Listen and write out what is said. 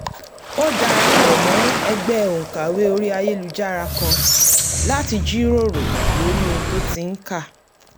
ó darapọ̀ mọ́ ẹgbẹ́ òǹkàwé orí ayélujára kan láti jíròrò lórí ohun tó ti ń kà